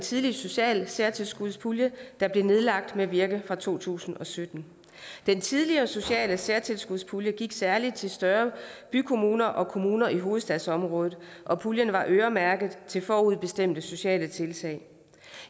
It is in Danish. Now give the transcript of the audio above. tidligere sociale særtilskudspulje der blev nedlagt med virkning fra to tusind og sytten den tidligere sociale særtilskudspulje gik særlig til større bykommuner og kommuner i hovedstadsområdet og puljen var øremærket forudbestemte sociale tiltag